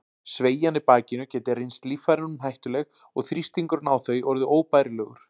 Sveigjan í bakinu gæti reynst líffærunum hættuleg og þrýstingurinn á þau orðið óbærilegur.